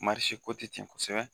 ko ti ten kosɛbɛ